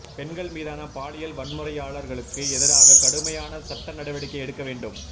பெண்கள் மீதான பாலியல் வன்முறையாளர்களுக்கு எதிராக கடுமையான சட்ட நடவடிக்கை எடுக்க வேண்டும்